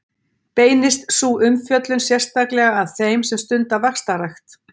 Beinist sú umfjöllun sérstaklega að þeim sem stunda vaxtarrækt.